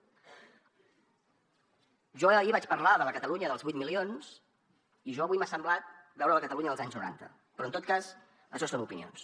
jo ahir vaig parlar de la catalunya dels vuit milions i a mi avui m’ha semblat veure la catalunya dels anys noranta però en tot cas això són opinions